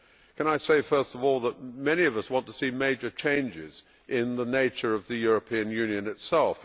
Can I say, first of all, that many of us want to see major changes in the nature of the European Union itself.